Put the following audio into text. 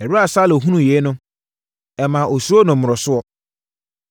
Ɛberɛ a Saulo hunuu yei no, ɛmaa ɔsuroo no mmorosoɔ.